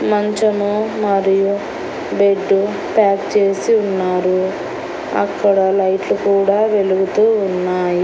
మంచము మరియు bed pack చేసి ఉన్నారు అక్కడ లైట్లు కూడా వెలుగుతూ ఉన్నాయి.